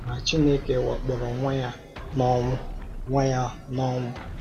Ma Chineke wakporo Nwa ya n’ọnwụ. Nwa ya n’ọnwụ.